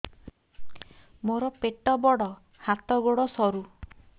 ମୋର ପେଟ ବଡ ହାତ ଗୋଡ ସରୁ